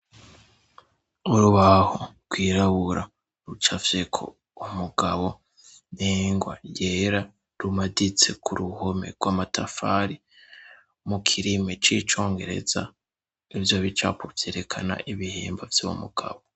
Urubaho rwirabura rucafyeko umugabo n' ingwa yera, rumaditse ku ruhome rw'amatafari. Mu kirimi c'icongereza ivyo bicapo vyerekana ibihimba vy' umugabo.